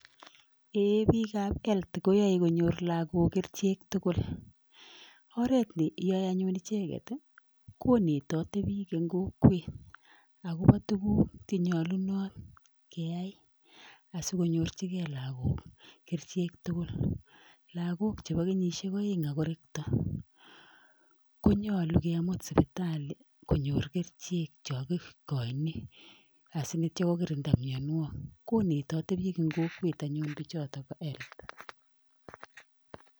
Eeiy bikab health koyoe konyor lagok kerichek tugul. Oret neyoe anyun icheget konetoti biik en kokwet agobo tuguk che nyolunot keyai asikonyorchige lagok kerichek tugul. Lagok chebo kenyishek oeng ak korekto konyolu kemut sipitali konyor kerichek chon kigochin asi kogirinda mianwogik. Konetoti biik en kokwet anyun bichot bo health.